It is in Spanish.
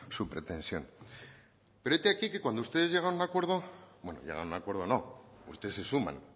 su pretensión pero hete aquí que cuando ustedes llegan a un acuerdo bueno llegan a un acuerdo no ustedes se suman